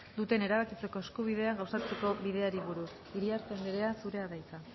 duten erabakitzeko eskubidea gauzatzeko bideari buruz iriarte andrea zurea da hitza